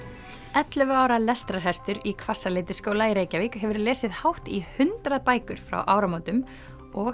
ellefu ára lestrarhestur í Hvassaleitisskóla í Reykjavík hefur lesið hátt í hundrað bækur frá áramótum og